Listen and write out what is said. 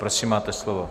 Prosím, máte slovo.